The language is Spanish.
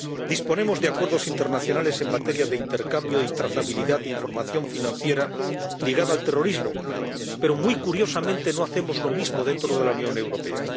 Disponemos de acuerdos internacionales en materia de intercambio y trazabilidad de información financiera ligada al terrorismo pero, muy curiosamente, no hacemos lo mismo dentro de la Unión Europea.